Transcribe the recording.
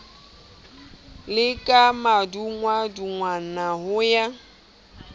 le ka madungwadungwana ho ya